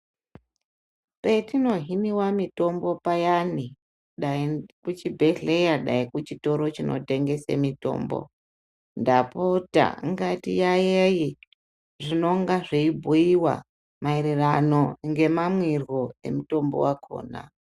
Petinohiniwa mitombo payani dai kuchibhedhleya dai kuchitoro chinotengese mitombo ndapota ngatiyaiyaie zvinonga zveibhuiwa mairirano nemamwirwo emutombo wakhona.